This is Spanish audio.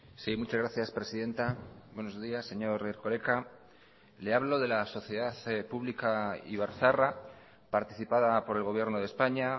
sí muchas gracias presidenta buenos días señor erkoreka le hablo de la sociedad pública ibarzaharra participada por el gobierno de españa